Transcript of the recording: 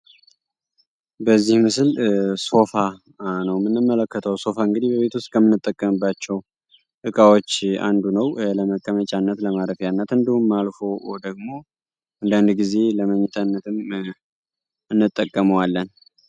ኮምፒተሪ አገሩ እንደማከማቸው አገልጋይ እና ሶፍትዌሮች በኢንተርኔት አማካኝነት የሚያቀርቡ ቴክኖሎጂ ነው ተጠቃሚዎችና ኩባንያዎች የራሳቸውን አካላዊ መሰረተ ልማት ሳይነቡ በቀላሉ መረጃዎች ማግኘት ይችላሉ